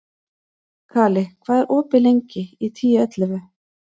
Kali, hvað er opið lengi í Tíu ellefu?